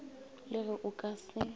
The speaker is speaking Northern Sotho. le ge o ka se